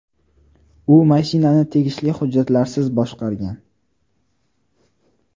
U mashinani tegishli hujjatlarsiz boshqargan.